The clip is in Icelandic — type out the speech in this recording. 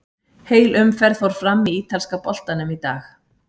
Heil umferð fór fram í ítalska boltanum í dag.